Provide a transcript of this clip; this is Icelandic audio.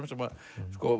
sem